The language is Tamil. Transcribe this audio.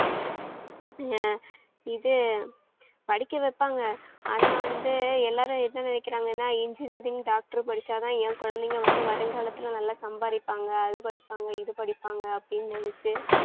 ஆஹ் இது படிக்க வைப்பாங்க, ஆனா வந்து எல்லாரும் என்ன நினைக்கிறாங்கனா engineering, doctor படிச்சாதான் என் குழந்தைங்க வந்து, வருங்காலத்தில நல்லா சம்பாரிப்பாங்க அது படிப்பாங்க இது படிப்பாங்க அப்படின்னு நினைச்சு